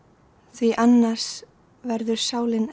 því ann ars verður sál in